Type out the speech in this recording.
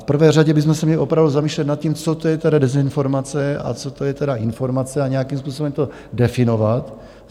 V prvé řadě bychom se měli opravdu zamýšlet nad tím, co to je ta dezinformace a co to je teda informace, a nějakým způsobem to definovat.